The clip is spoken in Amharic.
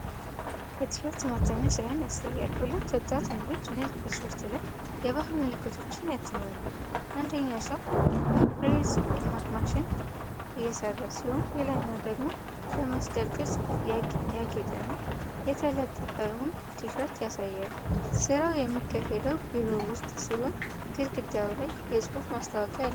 የቲሸርት ማተሚያ ሥራን ያሳያል። ሁለት ወጣት ወንዶች ነጭ ቲሸርት ላይ የባህል ምልክቶችን ያትማሉ። አንደኛው ሰው በፕሬስ ማሽን እየሰራ ሲሆን፤ ሌላኛው ደግሞ በመስቀል ቅርፅ ያጌጠና የተለጠፈውን ቲሸርት ያሳያል። ሥራው የሚካሄደው ቢሮ ውስጥ ሲሆን፤ ግድግዳው ላይ የጽሑፍ ማስታወቂያ አለ።